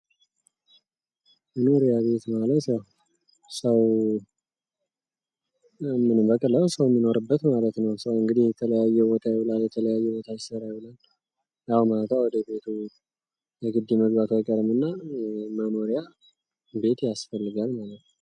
መኖሪያ ቤት ማለት ያው በቀላሉ ሰው የሚኖርበት ማለት ነው። ሰው እንግዲህ የተለያየ ቦታ ይኖራል የተለያየ ቦታ ይሰራል ከስራ በኋላ ያው ማታ ወደቤት መግባቱ አይቀርምና መኖሪያ ቤት ያስፈልጋል ማለት ነው።